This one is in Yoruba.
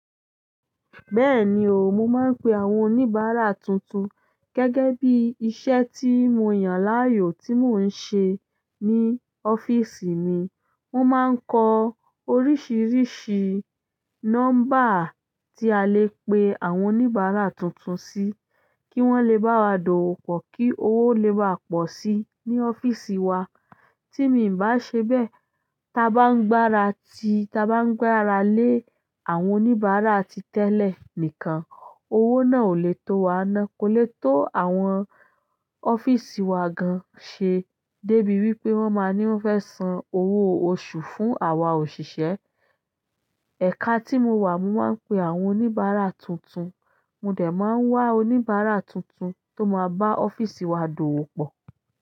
Bẹ́ẹ̀ni o, mo máa ń pe àwọn oníbàárà tuntun gẹ́gẹ́ bí iṣẹ́ tí mo yàn láàyò tí mò ń ṣe ní ọ́fíìsì mi. Mo máa ń kọ oríṣiríṣi nọ́mbà tí a lè pe àwọn oníbàárà tuntun sí, kí wọ́n le bá wa dọ̀wọ́pọ̀, kí owó lè bàa pọ̀ sí ní ọ́fíìsì wa. Tí mi bá ṣe bẹ́ẹ̀, ta bá ń gbára ti, ta bá ń gbára lé àwọn oníbàárà ti tẹ́lẹ̀ nìkan, owó náà ò lè tó wa ná, kò lè tó àwọn ọ́fíìsì wa gan ṣe débi wípé wọ́n máa ní wọ́n fẹ́ san owó oṣù fún àwa òṣìṣẹ́. Ẹ̀ka tí mo wà, mo máa ń pe àwọn oníbàárà tuntun, mo dẹ̀ máa ń wá oníbàárà tuntun tó máa bá ọ́fíìsì wa dọ̀wọ́pọ̀.